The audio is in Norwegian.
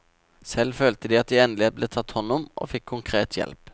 Selv følte de at de endelig ble tatt hånd om og fikk konkret hjelp.